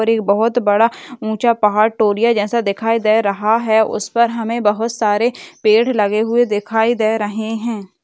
बहुत बड़ा ऊँचा पहाड़ टोरिया जैसा देखायी दे रहा है उस पर हमें बहुत सारे पेड़ लगे हुवे दिखाए दे रहे हैं।